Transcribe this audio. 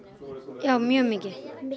já mjög mikið